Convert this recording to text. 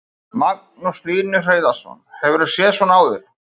Magnús Hlynur Hreiðarsson: Hefurðu séð svona áður?